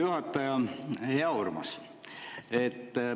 Hea Urmas!